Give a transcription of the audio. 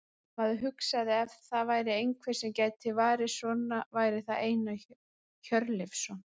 Maður hugsaði að ef það væri einhver sem gæti varið svona væri það Einar Hjörleifsson.